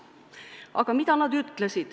Aga mida nad ütlesid?